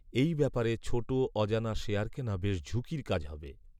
এই ব্যাপারে ছোট অজানা শেয়ার কেনা বেশ ঝুঁকির কাজ হবে